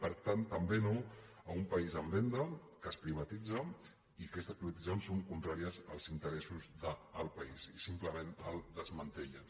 per tant també no a un país en venda que es privatitza i aquestes prioritzacions són contràries als interessos del país i simplement el desmantellen